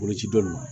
Boloci bɛ ma